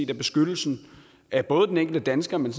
at beskyttelsen af både den enkelte dansker men